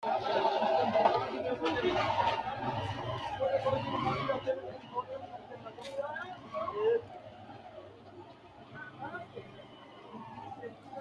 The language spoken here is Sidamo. tini maa xawissanno misileeti ? mulese noori maati ? hiissinannite ise ? tini kultannori maati? Kaameela mamicho nooreetti? Maa asittanni nootte?